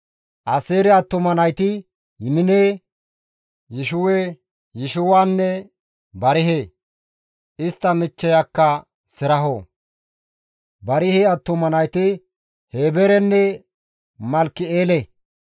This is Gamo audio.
Aaseere attuma nayti Yimine, Yishiwa, Yishiwenne Barihe; istta michcheyakka Seraho. Barihe attuma nayti Heeberenne Malkki7eele.